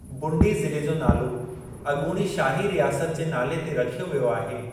बुंडी ज़िले जो नालो अॻूणी शाही रियासत जे नाले ते रखियो वियो आहे।